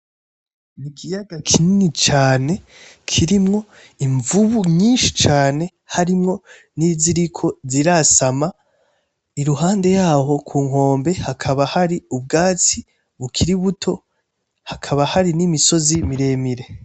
Ikiyaga kinini cane kirimwo imvubu nyinshi cane harimwo niziko zirasama. Iruhande yaho ku nkombe, hakaba hari ubwatsi bukiri buto hakaba hari n'imisozi miremire.